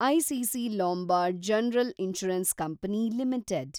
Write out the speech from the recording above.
ICC Lombard General Insurance Company limited